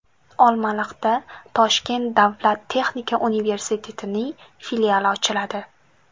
Olmaliqda Toshkent davlat texnika universitetining filiali ochiladi.